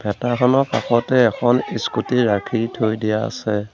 খনৰ কাষতে এখন ইস্কুটি ৰাখি থৈ দিয়া আছে।